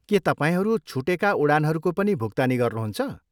के तपाईँहरू छुटेका उडानहरूको पनि भुक्तानी गर्नुहुन्छ?